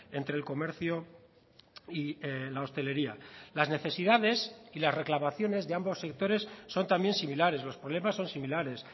entre el comercio y la hostelería las necesidades y las reclamaciones de ambos sectores son también similares los problemas son similares